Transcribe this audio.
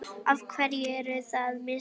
Af hverju eru það mistök?